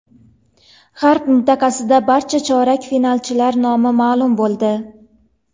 G‘arb mintaqasida barcha chorak finalchilar nomi ma’lum bo‘ldi.